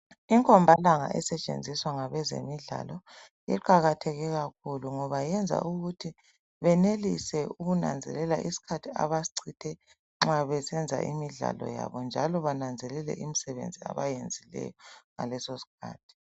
Inkombalanga esetshenziswa ngabezemidlalo iqakatheke kakhulu ngoba yenza ukuthi benelisa ukunanzelela isikhathi abasichithe nxa besenza imidlalo yabo njalo bananzelele imisebenzi abayenzileyo ngaleso sikhathi .